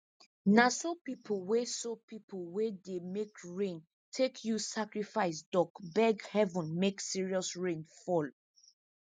na so pipo wey so pipo wey dey make rain take use sacrifice duck beg heaven make serious rain fall